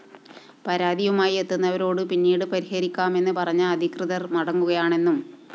പരാതിയുമായി എത്തുന്നവരോട് പിന്നീട് പരിഹരിക്കാമെന്ന് പറഞ്ഞ് അധികൃതര്‍ മടക്കുകയാണെന്നും പരാതിയുണ്ട്